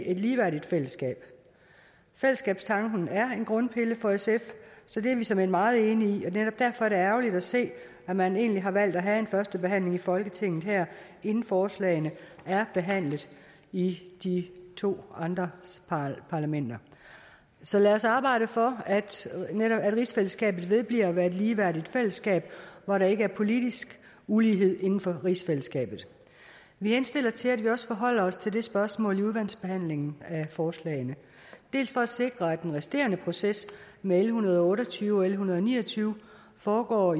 et ligeværdigt fællesskab fællesskabstanken er en grundpille for sf så det er vi såmænd meget enige i og netop derfor er det ærgerligt at se at man egentlig har valgt at have en førstebehandling i folketinget her inden forslagene er behandlet i de to andre parlamenter så lad os arbejde for at rigsfællesskabet vedbliver at være et ligeværdigt fællesskab hvor der ikke er politisk ulighed inden for rigsfællesskabet vi henstiller til at vi også forholder os til det spørgsmål i udvalgsbehandlingen af forslagene dels for at sikre at den resterende proces med l en hundrede og otte og tyve og l en hundrede og ni og tyve foregår